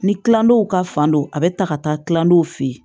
Ni kilandenw ka fan don a be ta ka taa kilandenw fe yen